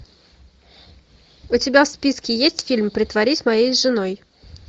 у тебя в списке есть фильм притворись моей женой